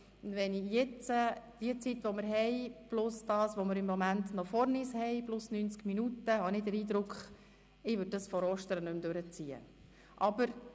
Wenn ich jetzt die noch zur Verfügung stehende Zeit sehe, plus das, was wir noch vor uns haben plus 90 Minuten, habe ich den Eindruck, dass wir dieses Traktandum vor Ostern nicht mehr durchziehen sollten.